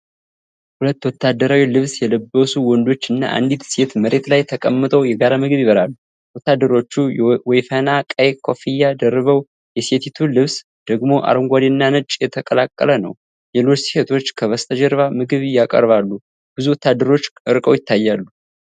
ሁለት ወታደራዊ ልብስ የለበሱ ወንዶችና አንዲት ሴት መሬት ላይ ተቀምጠው የጋራ ምግብ ይበላሉ። ወታደሮቹ ወይፈና ቀይ ኮፍያ ደርበው የሴቲቱ ልብስ ደግሞ አረንጓዴና ነጭ የተቀላቀለ ነው። ሌሎች ሴቶች ከበስተጀርባ ምግብ ያቀርባሉ፣ ብዙ ወታደሮችም ርቀው ይታያሉ።